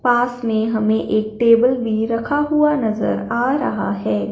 पास में हमें एक टेबल भी रखा हुआ नजर आ रहा है।